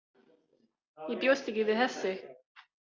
Ég bjóst ekki við þessu.